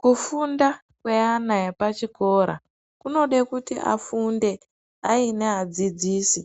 Kufunda kweana epachikora kunode kuti afunde aine adzidzisi